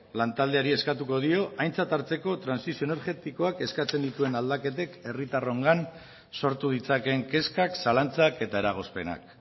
lantaldeari eskatuko dio aintzat hartzeko trantsizio energetikoak eskatzen dituen aldaketek herritarrongan sortu ditzakeen kezkak zalantzak eta eragozpenak